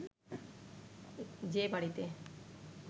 যে বাড়িতে